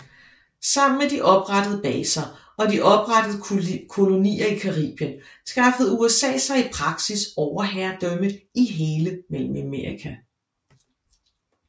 Sammen med de oprettede baser og de oprettede kolonier i Caribien skaffede USA sig i praksis overherredømme i hele Mellemamerika